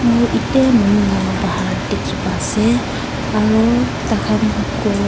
moi ete manu la bahar dikhi pai ase aru tai khan ghor--